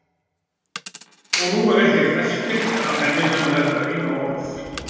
Og nú er ekkert eftir af henni nema þetta eina orð.